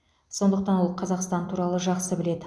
сондықтан ол қазақстан туралы жақсы біледі